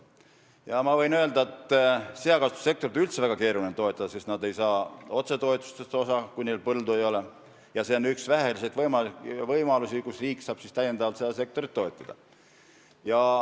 Ma võin öelda, et seakasvatussektorit on üldse väga keeruline toetada, sest seakasvatajad ei saa otsetoetustest osa, kui neil põldu ei ole, ja see on üks väheseid võimalusi, kuidas riik saab täiendavalt seda sektorit toetada.